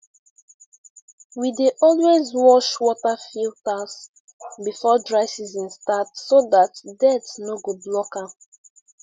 we dey always wash water filters before dry season start so dat dirt no go block am